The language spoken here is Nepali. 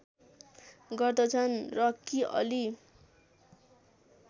गर्दछन् र कि अली